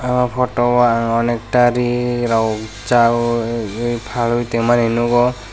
o photo o ang onekta ri rok chabwi ri phal tongmani nukgo.